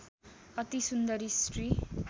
अति सुन्दरी स्त्री